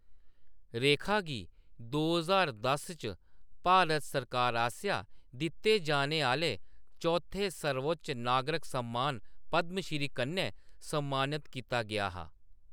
रेखा गी दो ज्हार दस च भारत सरकार आसेआ दित्ते जाने आह्‌‌‌ले चौथे सर्वोच्च नागरक सम्मान पद्मश्री कन्नै सम्मानत कीता गेआ हा।